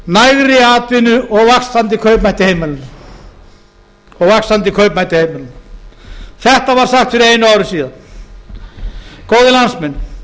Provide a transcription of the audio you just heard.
nægri atvinnu og vaxandi kaupmætti heimilanna þetta var sagt fyrir einu ári síðan góðir landsmenn